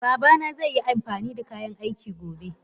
Babana zai amfanida kayan aiki gobe.